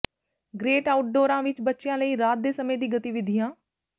great ਆਊਟਡੋਰਾਂ ਵਿਚ ਬੱਚਿਆਂ ਲਈ ਰਾਤ ਦੇ ਸਮੇਂ ਦੀ ਗਤੀਵਿਧੀਆਂ